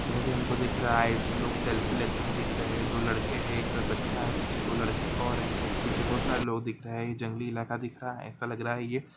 इधर हमको ये दिख रहा है इसमें लोग सेल्फी लेते हुए दिख रहे है दो लड़के है एक बच्चा है पीछे दो लड़के ओर है पीछे बहुत सारे लोग दिख रहे है ये जंगली इलाका दिख रहा है ऐसा लग रहा है ये--